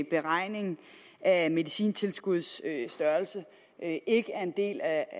beregning af medicintilskuddets størrelse ikke ikke er en del af